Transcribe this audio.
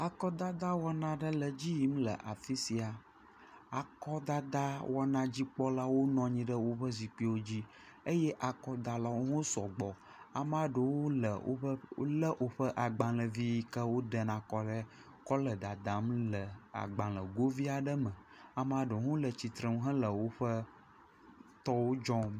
Akɔdadawɔna aɖe le edzi yim le afi sia. Akɔdadawɔna dzikpɔlawo nɔ anyi ɖe woƒe zikpuiwo zi eye akɔdalwo hã sɔgbɔ. Amea ɖewo le woƒe wo le woƒe agbalevi yi ke wodena kɔɖe kɔ le dadam ɖe agbalegovi aɖe me. Amea ɖewo hã le tsitrenu hele wo tɔwo dzɔm.